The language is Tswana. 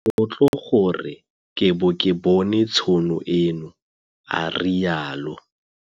Ke motlotlo gore ke bo ke bone tšhono eno, a rialo.